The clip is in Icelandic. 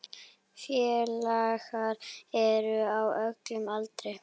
Félagar eru á öllum aldri.